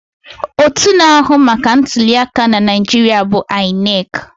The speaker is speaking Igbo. Otú na-ahụ maka ntuli aka na Naijiria bụ INEC.